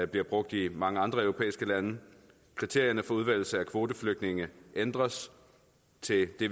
bliver brugt i mange andre europæiske lande at kriterierne for udvælgelse af kvoteflygtninge ændres til det